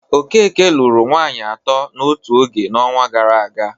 Okeke lụru nwaanyị atọ n'otu oge n'ọnwa gara aga.